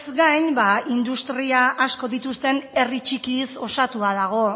gain ba industria asko dituzten herri txikiz osatua dago